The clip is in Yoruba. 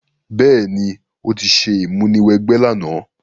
Béèní, o ti se ìmúniwẹgbẹ́ làná